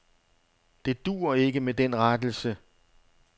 Det duer ikke med den rettelse.